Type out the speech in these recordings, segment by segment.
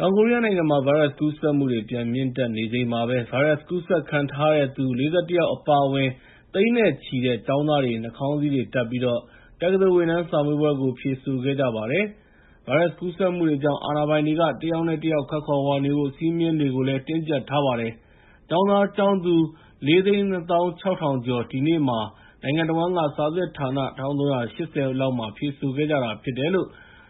တောင်ကိုရီးယားနိုင်ငံမှာ ဗိုင်းရပ်စ်ကူးစက်မှုတွေ ပြန်မြင့်တက်နေချိန်မှာပဲ ဗိုင်းရပ်စ် ကူးစက်ခံထားရသူ ၄၁ ယောက် အပါအဝင် သိန်းနဲ့ချီတဲ့ ကျောင်းသားတွေ နှာခေါင်းစည်းတွေတပ်ပြီး တက္ကသိုလ်ဝင်တန်းစာမေးပွဲကို ဖြေဆိုခဲ့ကြပါတယ်။ ဗိုင်းရပ်စ်ကူးစက်မှုတွေကြောင့် အာဏာပိုင်တွေက တယောက်နဲ့ တယောက်ခပ်ခွာခွာနေဖို့ စည်းမျဉ်းတွေကို တင်းကြပ်ထားပါတယ်။ ကျောင်းသားကျောင်းသူ ၄၂,၆၀၀၀ ကျော် ဒီနေ့မှာ နိုင်ငံတဝန်းက စာစစ်ဌာန ၁,၃၈၀ လောက်မှာဖြေဆိုခဲ့ကြတာဖြစ်တယ်လို့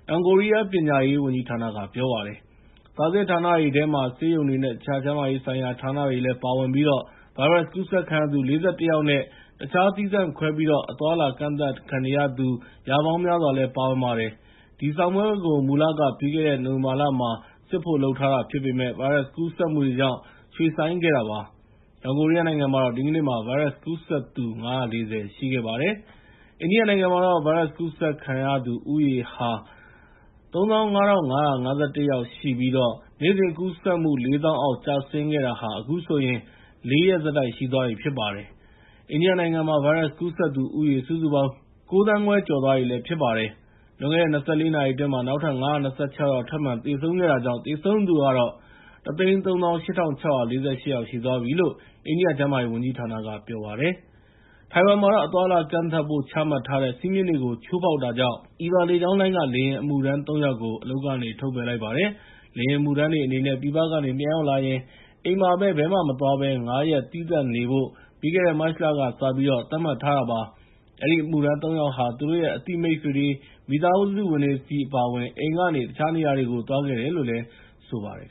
တောင်ကိုရီးယားပညာရေး ဝန်ကြီးဌာနက ပြောပါတယ်။ စာစစ်ဌာနတွေထဲမှာ ဆေးရုံတွေနဲ့ တခြား ကျန်းမာရေးဆိုင်ရာဌာနတွေလည်း ပါဝင်ပြီး၊ ဗိုင်းရပ်စ်ကူးစက်ခံရသူ ၄၁ ယောက်နဲ့ တခြားသီးသန့်ခွဲပြီး အသွားအလာကန့်ခံနေရသူ ရာပေါင်းများစွာလည်း ပါဝင်ပါတယ်။ ဒီစာမေးပွဲကို မူလက ပြီးခဲ့တဲ့ နိုဝင်ဘာလမှာ စစ်ဖို့ လုပ်ထားတာဖြစ်ပေမယ့် ဗိုင်းရပ်စ်ကူးစက်မှုတွေကြောင့် ရွှေ့ဆိုင်းခဲ့တာပါ။ တောင်ကိုရီးယားနိုင်ငံမှာတော့ ဒီနေ့မှာ ဗိုင်းရပ်စ်ကူးစက်သူ ၅၄၀ ရှိခဲ့ပါတယ်။ အိန္ဒိယနိုင်ငံမှာတော့ ဒီနေ့မှာ ဗိုင်းရပ်စ်ကူးစက်သူဦးရေဟာ ၃၅,၅၅၁ ယောက်ရှိပြီး နေ့စဉ်ကူးစက်မှု ၄၀,၀၀၀ အောက် ကျဆင်းခဲ့တာဟာ အခုဆိုရင် ၄ ရက်ဆက်တိုက်ရှိသွားပြီဖြစ်ပါတယ်။ အိန္ဒိယနိုင်ငံမှာ ဗိုင်းရပ်စ်ကူးစက်သူဦးရေ စုစုပေါင်း ၉,၅၀၀,၀၀၀ ကျော်သွားပြီဖြစ်ပါတယ်။ လွန်ခဲ့တဲ့ ၂၄ နာရီအတွင်း နောက်ထပ် ၅၂၆ ယောက် သေဆုံးခဲ့တာကြောင့် သေဆုံးသူကတော့ ၁၃၈,၆၄၈ ယောက်ရှိသွားပြီးလို့ အိန္ဒိယကျန်းမာရေးဝန်ကြီးဌာနက ပြောပါတယ်။ တိုင်ဝမ်မှာတော့ အသွားအလာကန့်သတ်ဖို့ ချမှတ်ထားတဲ့ စည်းမျဉ်းတွေကို ချိုးဖောက်တာကြောင့် Eva လေကြောင်းလိုင်းက လေယာဉ်အမှုထမ်း ၃ ယောက်ကို အလုပ်ကနေ ထုတ်ပယ်လိုက်ပါတယ်။ လေယာဉ်အမှုထမ်းတွေအနေနဲ့ ပြည်ပကနေ ပြန်ရောက်လာရင် ဘယ်မှမသွားဘဲ အိမ်မှာ ၅ ရက် သီးသန့်နေဖို့ ပြီးခဲ့တဲ့ မတ်လကစပြီး သတ်မှတ်ထားတာပါ။ အဲဒီအမှုထမ်း ၃ ယောက်ဟာ သူတို့ရဲ့ အသိမိတ်ဆွေတွေ၊ မိသားစုဝင်တွေဆီအပါအဝင် အိမ်ကနေ တခြားနေရာတွေကို သွားခဲ့တယ်လို့ဆိုပါတယ်